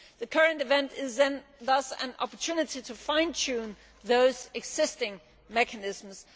The current event is thus an opportunity to fine tune those existing mechanisms.